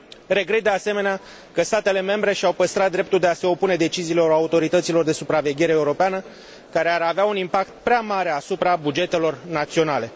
Regret, de asemenea, că statele membre și au păstrat dreptul de a se opune deciziilor autorităților de supraveghere europeană care ar avea un impact prea mare asupra bugetelor naționale.